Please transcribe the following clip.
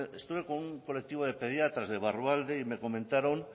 estuve con un colectivo de pediatras de barrualde y me comentaron